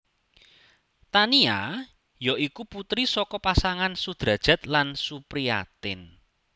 Tania ya iku putri saka pasangan Sudrajat lan Supriatin